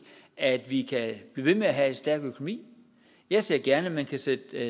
at vi kan blive ved med at have en stærk økonomi jeg ser gerne at man kan sætte